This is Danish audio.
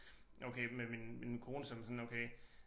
Okay men min men min kone som er sådan okay